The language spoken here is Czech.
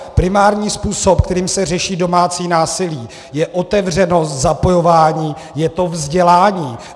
Primární způsob, kterým se řeší domácí násilí, je otevřenost, zapojování, je to vzdělání.